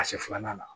Ka se filanan na